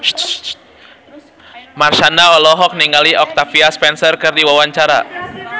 Marshanda olohok ningali Octavia Spencer keur diwawancara